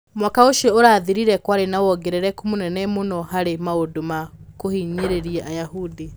Mwaka ũcio ũrathirire, kwarĩ na wongerereku mũnene mũno harĩ maũndũ ma kũhinyanĩrĩria Ayahudi.